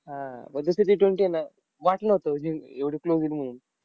हा आह पण दुसरी Ttwenty आहे ना, वाटलं नव्हतं जिं एवढी close येईल म्हणून.